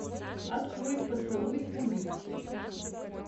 открой поцелуй убийцы